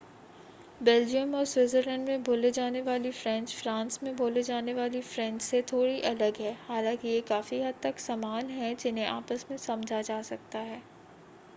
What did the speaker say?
Belgium और Switzerland में बोली जाने वाली फ़्रेंच फ़्रांस में बोली जाने वाली फ़्रेंच से थोड़ी अलग है हालांकि ये काफ़ी हद तक समान हैं जिन्हें आपस में समझा जा सकता है